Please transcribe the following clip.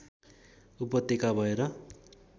उपत्यका भएर